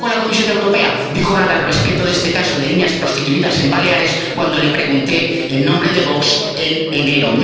Tampoco la Comisión Europea dijo nada al respecto de este caso de niñas prostituidas en Baleares cuando le pregunté, en nombre de Vox, en enero.